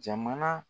Jamana